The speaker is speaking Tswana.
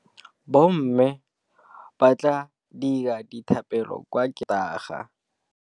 Bommê ba tla dira dithapêlô kwa kerekeng ka Sontaga.